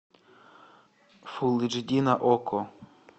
фулл эйч ди на окко